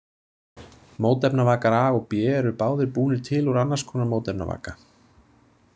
Mótefnavakar A og B eru báðir búnir til úr annars konar mótefnavaka.